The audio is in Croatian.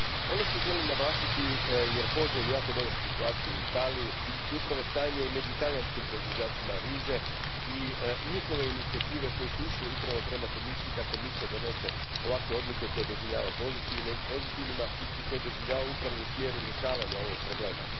Ono što želim naglasiti, jer poznajem jako dobro situaciju u Italiji, upravo stanje među talijanskim proizvođačima riže i njihove inicijative koje su išle upravo prema Komisiji, je da Komisija donosi ovakve odluke, koje doživljavam pozitivnima i koje doživljavam upravo u smjeru rješavanja ovog problema.